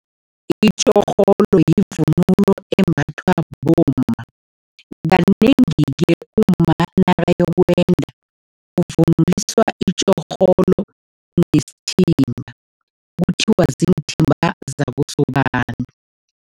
Itjorholo yivunulo embathwa bomma. Kanengi-ke umma nakayokwenda, uvunuliswa itjorholo nesithimba, kuthiwa ziinthimba zakosobantu.